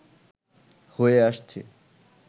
হয়ে আসছে